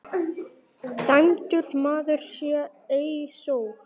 Dæmdur maður sá ei sól.